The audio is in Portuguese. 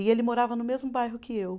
E ele morava no mesmo bairro que eu.